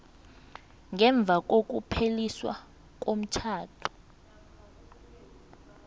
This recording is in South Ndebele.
ngemva kokupheliswa komtjhado